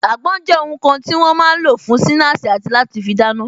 Àgbon jẹ́ ohun kan tí wọ́n máa ń lò fún sinasi àti láti fi dáná